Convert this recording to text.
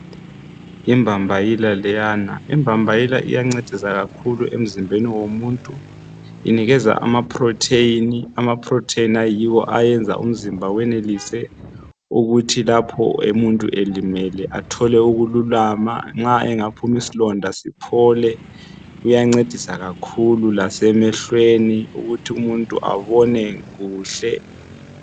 Yimbambayila leyana. Imbambayila iyancedisa kakhulu emzimbeni womuntu inikeza ama protein. Amaprotein ayiwo ayenza umzimba wenelise ukuthi lapho umuntu elimele athole ukululama nxa engaphuma isilonda siphole. Iyancedisa kakhulu lasemehlweni ukuthi umuntu abone kuhle.